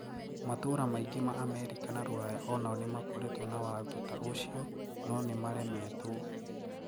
Matura mainge ma Amerika na rũraya onao nimakoretwo ma watho taa ucio noo nimaremetwo.